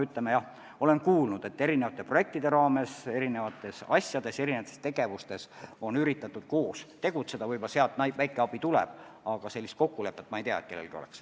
Ma olen kuulnud, et mitmesuguste projektide raames on erinevates ettevõtmistes üritatud koos tegutseda ja võib-olla sealt väike abi tuleb, aga ma ei tea, et sellist kokkulepet kellelgi oleks.